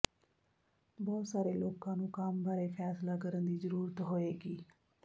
ਬਹੁਤ ਸਾਰੇ ਲੋਕਾਂ ਨੂੰ ਕੰਮ ਬਾਰੇ ਫੈਸਲਾ ਕਰਨ ਦੀ ਜ਼ਰੂਰਤ ਹੋਏਗੀ